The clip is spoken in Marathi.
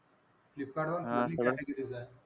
फ्लिपकार्टवर पण दोन्ही categories आहेत.